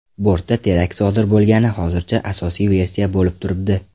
Bortda terakt sodir bo‘lgani hozircha asosiy versiya bo‘lib turibdi.